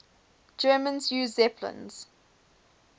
germans used zeppelins